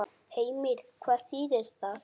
Heimir: Hvað þýðir það?